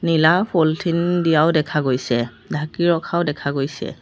নীলা পলিথিন দিয়াও দেখা গৈছে ঢাকি ৰখাও দেখা গৈছে।